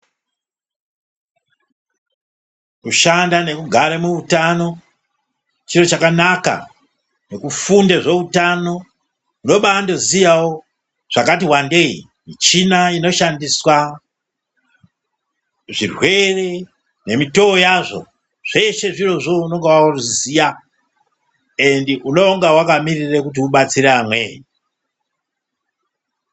Kushanda nekugare muhutano ,chinhu chakanaka ,nekufunde zvehutano unobawozivawo zvakati wandeyi ,michina inoshandiswa ,zvirwere nemitowo yazvo zveshe zvirozvo unongawaziya ende unonga wakamirira kuti ubatsira amweni